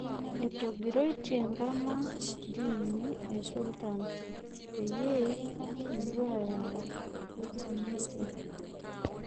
Etomg'iroitie Nkama ntiimi esulutan peyie epuo ayau Simitia